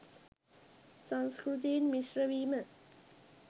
සංස්කෘතීන් මිශ්‍රවීම